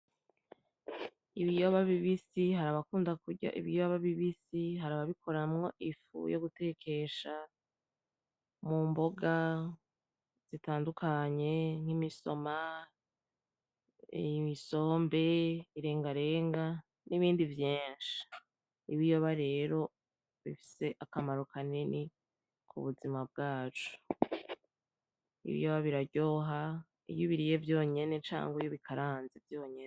Ibiyoba bibisi, hari abakunda kurya ibiyoba bibisi hari ababikuramwo ifu yo gutekesha mu mboga zitandukanya nk'imisoma isombe irengarenga n'ibindi vyinshi ibiyoba rero bifise akamaro kanini ku buzima bwacu ibiyoba biraryoha iyo ubiriye vyonyene canke iyo ubikaranze vyonyene.